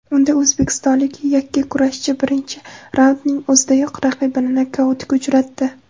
Unda o‘zbekistonlik yakkakurashchi birinchi raundning o‘zidayoq raqibini nokautga uchratdi.